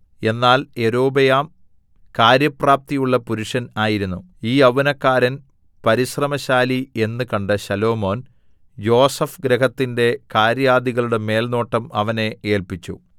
എന്നാൽ യൊരോബെയാം കാര്യപ്രാപ്തിയുള്ള പുരുഷൻ ആയിരുന്നു ഈ യൗവനക്കാരൻ പരിശ്രമശാലി എന്ന് കണ്ട് ശലോമോൻ യോസേഫ് ഗൃഹത്തിന്റെ കാര്യാദികളുടെ മേൽനോട്ടം അവനെ ഏല്പിച്ചു